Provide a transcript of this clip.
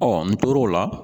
n tor'o la